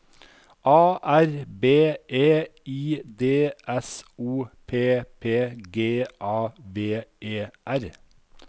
A R B E I D S O P P G A V E R